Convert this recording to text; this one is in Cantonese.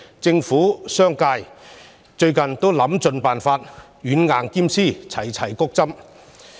政府和商界近日都想盡辦法，希望軟硬兼施，齊齊"谷針"。